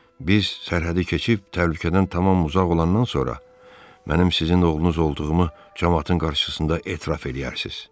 Biz sərhədi keçib təhlükədən tamam uzaq olandan sonra, mənim sizin oğlunuz olduğumu camaatın qarşısında etiraf eləyərsiniz.